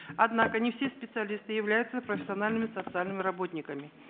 однако не все специалисты являются профессиональными социальными работниками